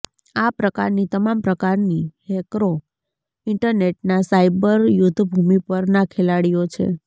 આ પ્રકારની તમામ પ્રકારની હેકરો ઇન્ટરનેટના સાયબર યુદ્ધભૂમિ પરના ખેલાડીઓ છે